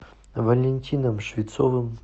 валентином швецовым